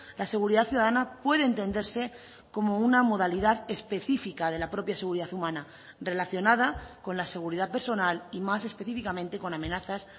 la seguridad ciudadana puede entenderse como una modalidad específica de la propia seguridad humana relacionada con la seguridad personal y más específicamente con amenazas